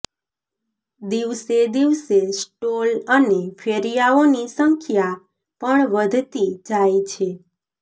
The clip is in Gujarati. દિવસે દિવસે સ્ટોલ અને ફેરિયાઓની સંખ્યા પણ વધતી જાય છે